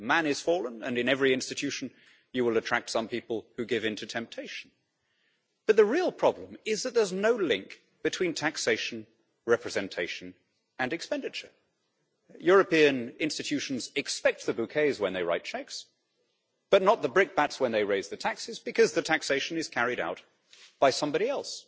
Man is fallen and in every institution you will attract some people who give in to temptation, but the real problem is that there is no link between taxation, representation and expenditure. European institutions expect the bouquets when they write cheques but not the brickbats when they raise the taxes, because taxation is carried out by somebody else.